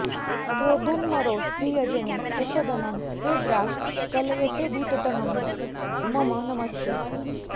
क्रोधनमरौ प्रियजने प्रसदनं है द्राक् कलयतेऽद्भुततनो मम नमस्ते